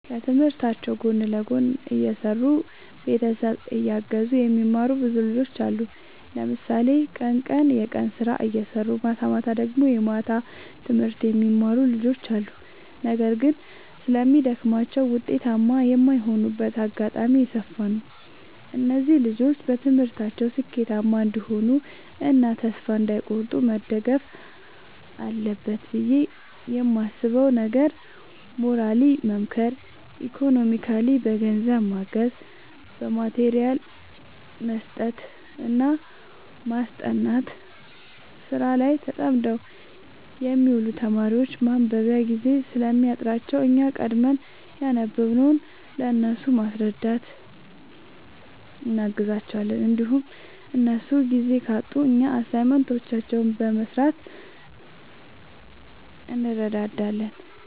ከትምህርታቸው ጎን ለጎን እየሰሩ ቤተሰብ እያገዙ የሚማሩ ብዙ ልጆች አሉ። ለምሳሌ ቀን ቀን የቀን ስራ እየሰሩ ማታማታ ደግሞ የማታ ትምህርት የሚማሩ ልጆች አሉ። ነገር ግን ስለሚደግማቸው ውጤታማ የማይሆኑበት አጋጣሚ የሰፋ ነው። እነዚህ ልጆች በትምህርታቸው ስኬታማ እንዲሆኑ እና ተስፋ እንዳይ ቆርጡ መደረግ አለበት ብዬ የማስበው ነገር ሞራሊ መምከር ኢኮኖሚካሊ በገንዘብ ማገዝ በማቴሪያል መስጠትና ማስጠናት። ስራ ላይ ተጠምደው የሚውሉ ተማሪዎች ማንበቢያ ጊዜ ስለሚያጥራቸው እኛ ቀድመን ያነበብንውን ለእነሱ በማስረዳት እናግዛቸዋለን እንዲሁም እነሱ ጊዜ ካጡ እኛ አሳይመንቶችን በመስራት እንረዳዳለን